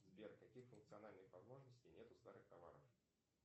сбер каких функциональных возможностей нет у старых товаров